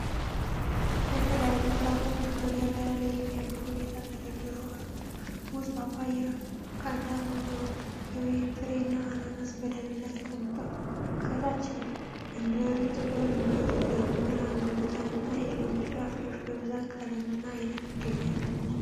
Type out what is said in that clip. የተለያዩ ፍራፍሬዎች በገበያ ላይ በሚያምር ሁኔታ ተደርድረው አሉ። ሙዝ፣ ፓፓያ፣ ካንታሎፕ፣ የወይን ፍሬ እና አናናስ በደረጃ ተቀምጠዋል። ከታች እንጆሪ፣ ጥቁር እንጆሪ፣ ራምቡታን እና የሎሚ ፍራፍሬዎች በብዙ ቀለምና ዓይነት ይገኛሉ።